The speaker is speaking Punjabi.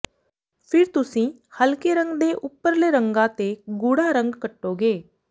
ਫਿਰ ਤੁਸੀਂ ਹਲਕੇ ਰੰਗ ਦੇ ਉੱਪਰਲੇ ਰੰਗਾਂ ਤੇ ਗੂੜਾ ਰੰਗ ਕੱਟੋਗੇ